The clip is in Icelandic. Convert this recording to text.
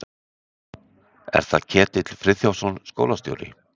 Er það Ketill Friðþjófsson, skólastjóri?